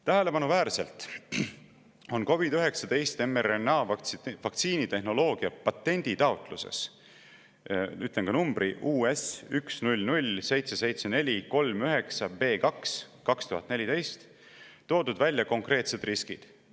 Tähelepanuväärselt on COVID‑19 mRNA-vaktsiini tehnoloogia patenditaotluses – ütlen ka numbri: US10077439B2/2014 – toodud välja konkreetsed riskid.